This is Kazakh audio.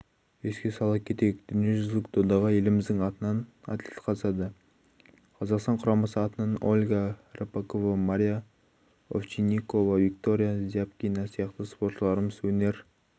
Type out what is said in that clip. еске сала кетейік дүниежүзілік додаға еліміздің атынан атлет қатысады қазақстан құрамасы атынан ольга рыпакова мария овчинникова виктория зябкина сияқты споршыларымыз өнер